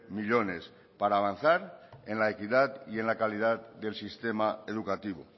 millónes para avanzar en la equidad y en la calidad del sistema educativo